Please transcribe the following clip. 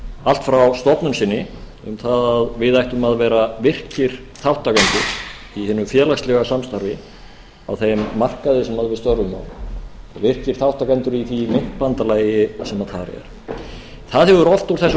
allt frá stofnun sinni um það að við ættum að vera virkir þátttakendur í hinu félagslega samstarfi á þeim markaði sem við störfum á virkir þátttakendur í því myntbandalagi sem þar er það hefur oft úr þessum